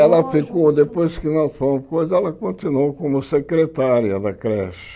Ela ficou, depois que nós fomos coisa, ela continuou como secretária da creche.